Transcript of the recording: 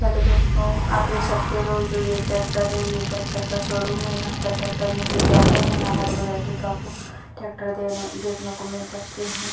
Hello दोस्तों आप देख सकते हो जो यह टेक्टर है ये टेक्टर का शोरूम है। यहाँ पर टेक्टर में ले जाते हैं। यहाँ हर वैरायटी का आपको टेक्टर देने देखने को मिल सकते हैं।